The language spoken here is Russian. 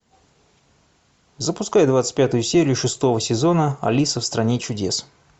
запускай двадцать пятую серию шестого сезона алиса в стране чудес